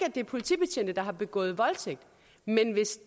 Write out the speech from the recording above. at det er politibetjente der har begået voldtægt men hvis